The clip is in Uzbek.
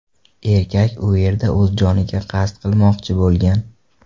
Erkak u yerda o‘z joniga qasd qilmoqchi bo‘lgan.